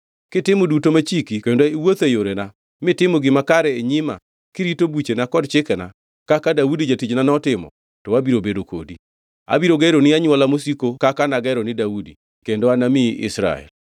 Kitimo duto machiki kendo iwuotho e yorena mitimo gima kare e nyima kirito buchena kod chikena, kaka Daudi jatichna notimo, to abiro bedo kodi. Abiro geroni anywola mosiko kaka nagero ni Daudi kendo anamiyi Israel.